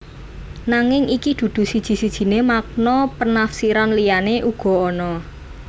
Nanging iki dudu siji sijiné makna penafsiran liyané uga ana